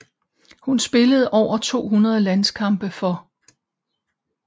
Hun spillede over 200 landskampe for